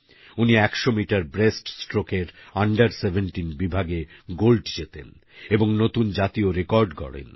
উনি ১০০ মিটার ব্রেস্টস্ট্রোকের আন্ডার১৭ বিভাগে গোল্ড জেতেন এবং নতুন জাতীয় রেকর্ড গড়েন